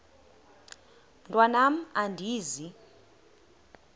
mntwan am andizi